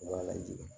Wa lajigin